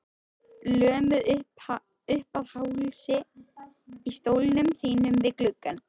Lömuð uppað hálsi í stólnum þínum við gluggann.